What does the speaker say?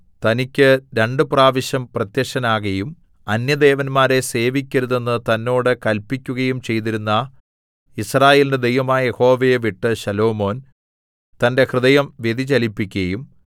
തനിക്ക് രണ്ടുപ്രാവശ്യം പ്രത്യക്ഷനാകയും അന്യദേവന്മാരെ സേവിക്കരുതെന്ന് തന്നോട് കല്പിക്കയും ചെയ്തിരുന്ന യിസ്രായേലിന്റെ ദൈവമായ യഹോവയെ വിട്ട് ശലോമോൻ തന്റെ ഹൃദയം വ്യതിചലിപ്പിക്കയും